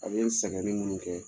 A bɛ sɛgɛnni ninnu kɛ